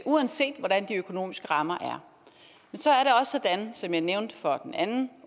uanset hvordan de økonomiske rammer er som jeg nævnte for den anden